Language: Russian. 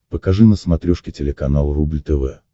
покажи на смотрешке телеканал рубль тв